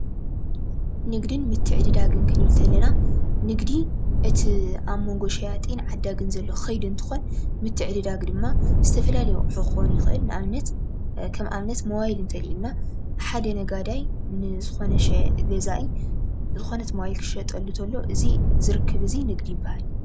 ንግድን ምትዕድዳግን ክንብል እንተለና ንግዲ እቲ ኣብ ሞንጎ ሸያጥን ዓዳግን ዘሎ ከይዲ እንትኾን ምትዕድዳግ ድማ ዝተፈላለዩ ኣቑሑ ክኾን ይኽእል ።ከም ኣብነት ሞባይል እንተልዒልና ሓደ ነጋዳይ ንዝኾነ ገዛኢ ዝኾነት ሞባይል ክሸጠሉ እንተሎ እዚ ርክብ እዚ ንግዲ ይባሃል።